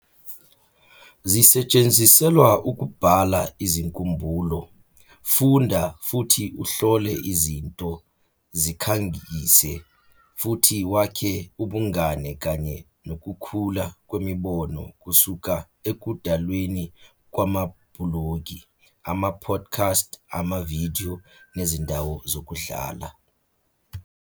zisetshenziselwa ukubhala izinkumbulo, funda futhi uhlole izinto, zikhangise, futhi wakhe ubungane kanye nokukhula kwemibono kusuka ekudalweni kwamabhulogi, ama-podcast, amavidiyo, nezindawo zokudlala.